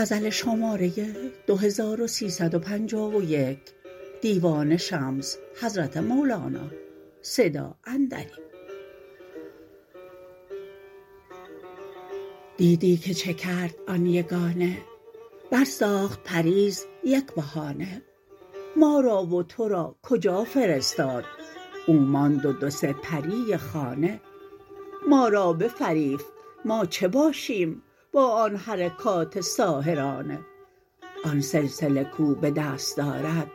دیدی که چه کرد آن یگانه برساخت پریر یک بهانه ما را و تو را کجا فرستاد او ماند و دو سه پری خانه ما را بفریفت ما چه باشیم با آن حرکات ساحرانه آن سلسله کو به دست دارد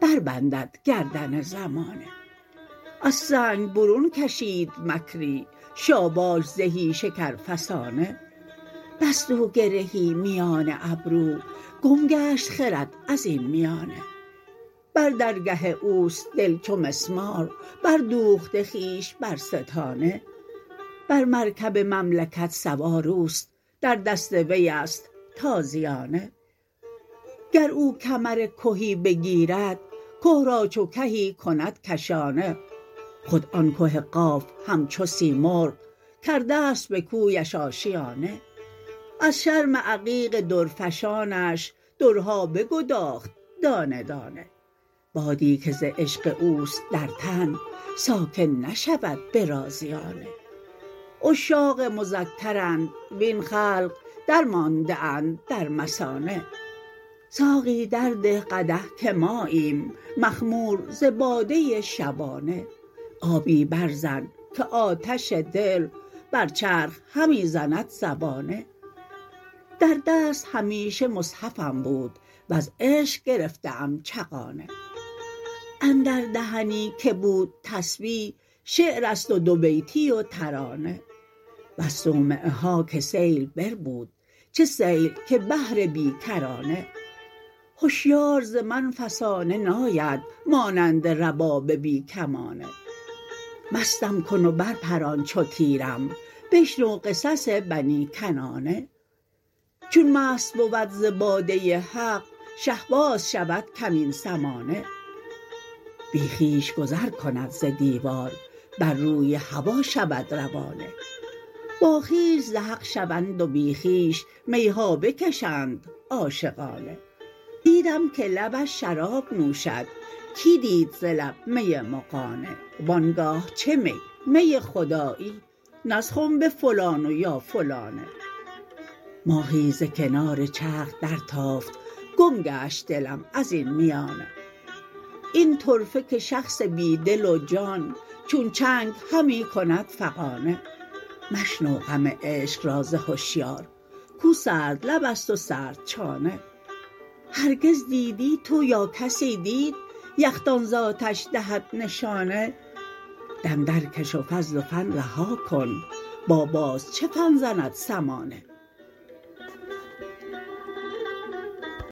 بربندد گردن زمانه از سنگ برون کشید مکری شاباش زهی شکر فسانه بست او گرهی میان ابرو گم گشت خرد از این میانه بر درگه او است دل چو مسمار بردوخته خویش بر ستانه بر مرکب مملکت سوار او است در دست وی است تازیانه گر او کمر کهی بگیرد که را چو کهی کند کشانه خود آن که قاف همچو سیمرغ کرده ست به کویش آشیانه از شرم عقیق درفشانش درها بگداخت دانه دانه بادی که ز عشق او است در تن ساکن نشود به رازیانه عشاق مذکرند وین خلق درمانده اند در مثانه ساقی درده قدح که ماییم مخمور ز باده شبانه آبی برزن که آتش دل بر چرخ همی زند زبانه در دست همیشه مصحفم بود وز عشق گرفته ام چغانه اندر دهنی که بود تسبیح شعر است و دوبیتی و ترانه بس صومعه ها که سیل بربود چه سیل که بحر بی کرانه هشیار ز من فسانه ناید مانند رباب بی کمانه مستم کن و برپران چو تیرم بشنو قصص بنی کنانه چون مست بود ز باده حق شهباز شود کمین سمانه بی خویش گذر کند ز دیوار بر روی هوا شود روانه باخویش ز حق شوند و بی خویش می ها بکشند عاشقانه دیدم که لبش شراب نوشد کی دید ز لب می مغانه و آن گاه چه میمی خدایی نه از خنب فلان و یا فلانه ماهی ز کنار چرخ درتافت گم گشت دلم از این میانه این طرفه که شخص بی دل و جان چون چنگ همی کند فغانه مشنو غم عشق را ز هشیار کو سردلب است و سردچانه هرگز دیدی تو یا کسی دید یخدان ز آتش دهد نشانه دم درکش و فضل و فن رها کن با باز چه فن زند سمانه